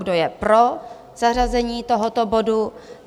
Kdo je pro zařazení tohoto bodu?